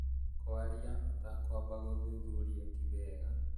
Kwarĩa ũtakwamba gũthuthuria ti wega